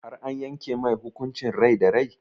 Har an yanke mai hukuncin rai da rai?